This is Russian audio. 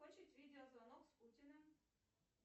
хочет видеозвонок с путииным